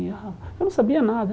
Ah Eu não sabia nada.